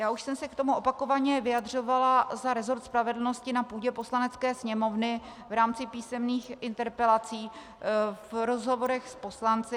Já už jsem se k tomu opakovaně vyjadřovala za resort spravedlnosti na půdě Poslanecké sněmovny v rámci písemných interpelací, v rozhovorech s poslanci.